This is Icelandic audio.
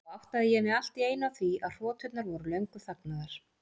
Þá áttaði ég mig allt í einu á því að hroturnar voru löngu þagnaðar.